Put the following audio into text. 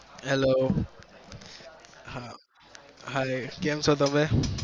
hello હા hii કેમ છો તમે?